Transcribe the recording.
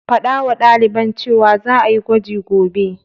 Faɗawa ɗaliban cewa za'a yi gwaji gobe.